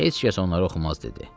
Heç kəs onları oxumaz dedi.